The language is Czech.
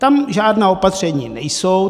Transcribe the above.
Tam žádná opatření nejsou.